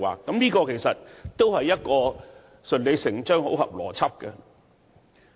這做法相當順理成章，符合邏輯。